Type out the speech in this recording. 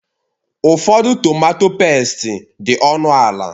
Ụfọdụ tomatọ pẹ́sti dị ọnụ ala.